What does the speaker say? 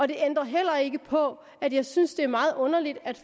det ændrer heller ikke på at jeg synes det er meget underligt at